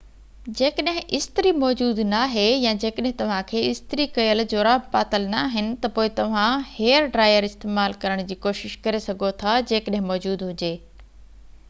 جيڪڏهن استري موجود ناهي يا جيڪڏهن توهان کي استري ڪيل جوراب پاتل ناهن ته پوءِ توهان هيئر ڊرائير استعمال ڪرڻ جي ڪوشش ڪري سگهو ٿا جيڪڏهن موجود هجي